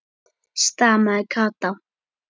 stamaði Kata.